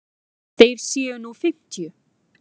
Þeir séu nú fimmtíu.